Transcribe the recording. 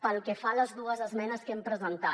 pel que fa a les dues esmenes que hem presentat